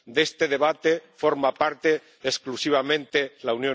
De este debate forma parte exclusivamente la